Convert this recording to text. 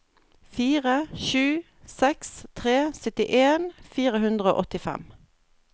fire sju seks tre syttien fire hundre og åttifem